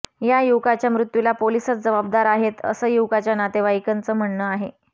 या युवकाच्या मृत्यूला पोलिसच जबाबदार आहेत असं युवकाच्या नातेवाईकांचं म्हणणं आहे